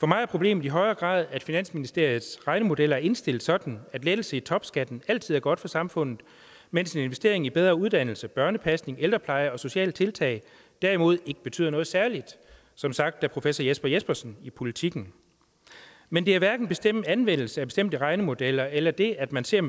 for mig er problemet i højere grad at finansministeriets regnemodeller er indstillet sådan at lettelse i topskatten altid er godt for samfundet mens en investering i bedre uddannelse børnepasning ældrepleje og sociale tiltag derimod ikke betyder noget særligt som sagt af professor jesper jespersen i politiken men det er hverken en bestemt anvendelse af bestemte regnemodeller eller det at man ser